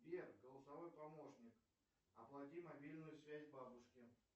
сбер голосовой помощник оплати мобильную связь бабушке